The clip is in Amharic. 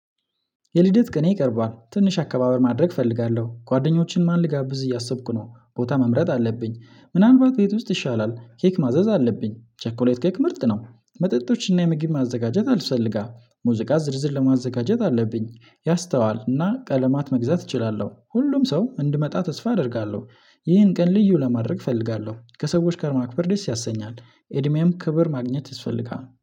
የልደት ቀኔ ቀርቧል ትንሽ አከባበር ማድረግ እፈልጋለሁ ጓደኞችን ማን ልጋብዝ እያሰብኩ ነው ቦታ መምረጥ አለብኝ ምናልባት ቤት ውስጥ ይሻላል ኬክ ማዘዝ አለብኝ ቸኮሌት ኬክ ምርጥ ነው መጠጦችንና ምግብ ማዘጋጀት ያስፈልጋል ሙዚቃ ዝርዝር ለማዘጋጀት አለብኝ ያስተዋልና ቀለማት መግዛት እችላለሁ ሁሉም ሰው እንዲመጣ ተስፋ አደርጋለሁ። ይህን ቀን ልዩ ለማድረግ እፈልጋለሁ ከሰዎች ጋር ማክበር ደስ ያሰኛል። እድሜም ክብር ማግኘት ይስፈልጋል